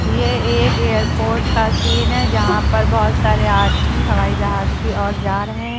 यह एक एयरपोर्ट का सीन है जहां पर बहोत सारे आदमी हवाई जहाज की ओर जा रहे हैं।